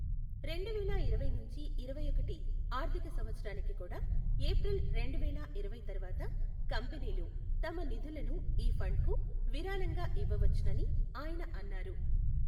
రెండువేల ఇరవై నుంచి ఇరవైఒకటి ఆర్ధిక సంవత్సరానికి కూడా ఏప్రిల్ రెండువేల ఇరవై తర్వాత కంపెనీలు తమ నిధులను ఈ ఫండ్కు విరాళంగా ఇవ్వవచ్చునని ఆయన అన్నారు.